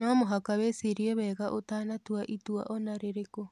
No mũhaka wĩcirie wega ũtanatua itua o na rĩrĩkũ.